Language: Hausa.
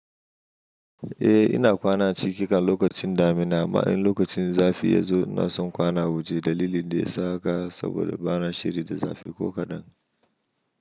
Eh ina kwana ciki kan lokacin damina, ma'an lokacin zafi ya zo na son kwana waje dalili da ya saka saboda ba na shiri da zafi ko kaɗan.